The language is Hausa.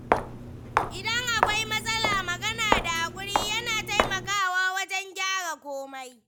Idan akwai matsala, magana da haƙuri yana taimakawa wajen gyara komai.